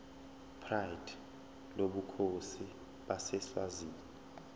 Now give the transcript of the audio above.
pride lobukhosi baseswazini